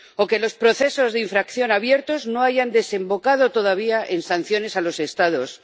o que los procesos de infracción abiertos no hayan desembocado todavía en sanciones a los Estados